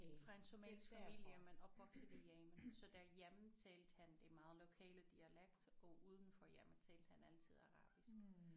Fra en somalisk familie men opvokset i Yemen så derhjemme talte han det meget lokale dialekt og uden for hjemmet talte han altid arabisk